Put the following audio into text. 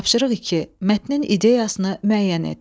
Tapşırıq iki: Mətnin ideyasını müəyyən et.